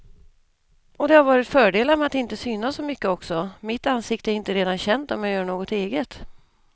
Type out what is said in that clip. Och det har varit fördelar med att inte synas så mycket också, mitt ansikte är inte redan känt om jag gör något eget.